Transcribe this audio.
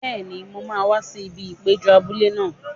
Bẹ́ẹ̀ni, mo máa wá sí ibi ìpéjọ abúlé náà.